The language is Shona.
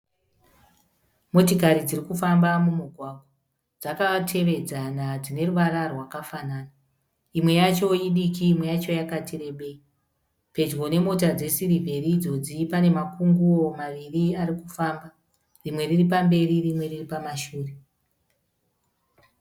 Motikari dziri kufamba mumugwagwa. Dzakatevedzana dzine ruvara rwakafanana. Imwe yacho idiki imwe yacho yakati rebei. Pedyo nemota dzesiriveri idzodzi pane makunguo maviri ari kufamba, rimwe riri pamberi, rimwe riri pamashure.